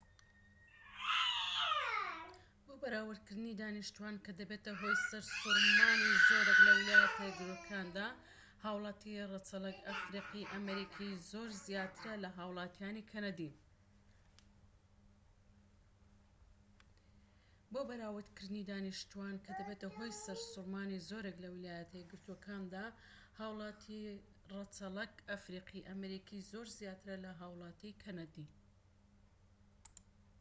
بۆ بەراوردکردنی دانیشتوان کە دەبێتە هۆی سەرسوڕمانی زۆرێك لە ویلایەتە یەکگرتوەکاندا هاوڵاتی ڕەچەڵەک ئەفریقی-ئەمریکی زۆر زیاترە لە هاوڵاتیانی کەنەدی